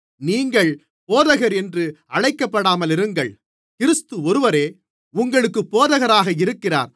நீங்கள் போதகர் என்றும் அழைக்கப்படாமலிருங்கள் கிறிஸ்து ஒருவரே உங்களுக்குப் போதகராக இருக்கிறார்